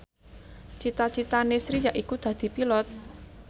cita citane Sri yaiku dadi Pilot